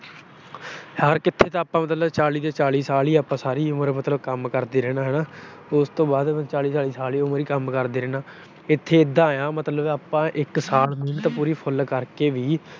ਹਰ ਕਿਤੇ ਤਾਂ ਆਪਾ ਚਾਲੀ ਦੇ ਚਾਲੀ ਸਾਲ ਸਾਰੀ ਉਮਰ ਕੰਮ ਕਰਦੇ ਰਹਿਣਾ ਹਨਾ। ਉਸ ਤੋਂ ਬਾਅਦ ਚਾਲੀ ਸਾਲ ਸਾਰੀ ਉਮਰ ਹੀ ਕੰਮ ਕਰਦੇ ਰਹਿਣਾ। ਇਥੇ ਇਦਾਂ ਆ ਮਤਲਬ ਆਪਾ ਇਕ ਸਾਲ ਮਿਹਨਤ ਪੂਰੀ full ਕਰਕੇ ਵੀ